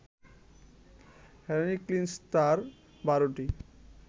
Heracles তার বারোটি